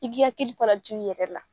I k'i hakili fana to i yɛrɛ la.